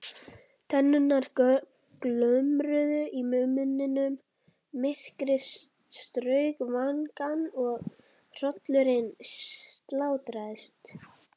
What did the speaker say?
Tennurnar glömruðu í munninum, myrkrið strauk vangana og hrollurinn sáldraðist.